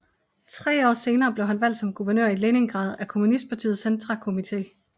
Tre år senere blev han valgt som guvernør i Leningrad af kommunistpartiets centrakomité